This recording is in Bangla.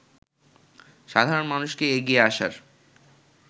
সাধারণ মানুষকে এগিয়ে আসার